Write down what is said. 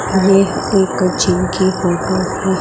ये एक जिम की फोटो है।